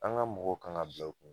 An ka mɔgɔw kan ka bila u kun